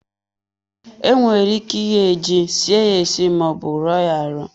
Enwere ike ighe ji, sie ye esi ma ọ bụ ruo ya arụ.